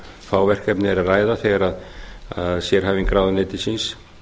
fá verkefni er að ræða þegar sérhæfing ráðuneytisins